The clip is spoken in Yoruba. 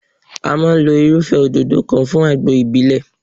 A máa lo irúfẹ́ òdòdó kan fún àgbo ìbílẹ̀.